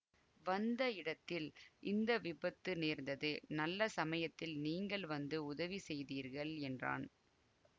வந்த இடத்தில் இந்த விபத்து நேர்ந்தது நல்ல சமயத்தில் நீங்கள் வந்து உதவி செய்தீர்கள் என்றான்